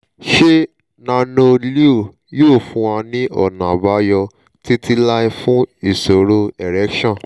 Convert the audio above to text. ṣé nano-leo yóò fún wa ní ọ̀nà àbáyọ títí láé fún ìṣòro erection